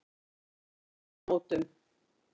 Vegamótum